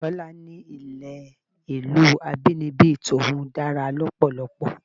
Tọ́lá ní ilé ìlú abínibí tòun dára lọ́pọ̀lọpọ̀.